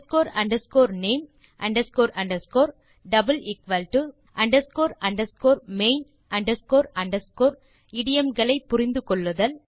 name main இடியோம் களை புரிந்து கொள்ளுதல்